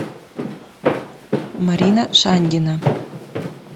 марина шаньгина